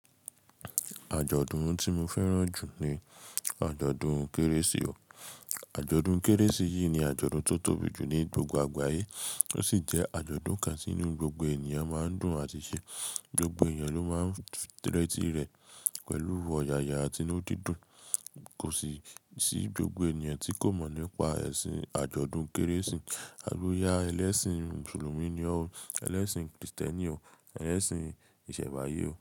Àjọ̀dún tí mo fẹ́ràn jù ní àjọ̀dún Kérésì o. Àjọ̀dún Kérésì yìí ni àjọ̀dún tó tóbi jù ní gbogbo àgbáyé, ó sì jẹ́ àjọ̀dún kan tí inú gbogbo ènìyàn máa ń dùn àti ṣe. Gbogbo èyàn ló máa ń rẹ́tí rẹ̀ pẹ̀lú ọ̀yàyà àti inú dídùn, kòsi sì gbogbo ènìyàn tí kò mọ̀ nípa ẹ̀sìn àjọ̀dún Kérésì alúyà, ẹlẹ́sìn mùsùlùmí ni o, ẹlẹ́sìn kìrìsìtẹ́nì o, ẹlẹ́sìn ìsẹ̀nbáyé o.